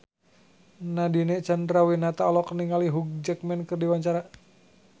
Nadine Chandrawinata olohok ningali Hugh Jackman keur diwawancara